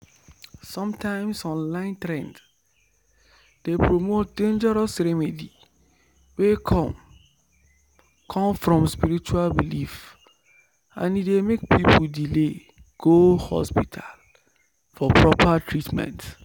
sometimes online trend dey promote dangerous remedy wey come come from spiritual belief and e dey make people delay go hospital for proper treatment.